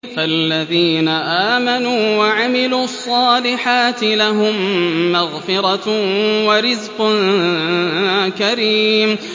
فَالَّذِينَ آمَنُوا وَعَمِلُوا الصَّالِحَاتِ لَهُم مَّغْفِرَةٌ وَرِزْقٌ كَرِيمٌ